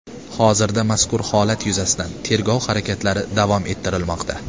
Hozirda mazkur holat yuzasidan tergov harakatlari davom ettirilmoqda.